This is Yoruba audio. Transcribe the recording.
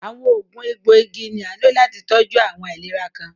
Awọn oogun ègboigì ni a nló láti tọjú awọn aìlèrà kan.